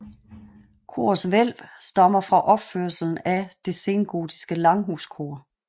Korets hvælv stammer fra opførelsen af det sengotiske langhuskor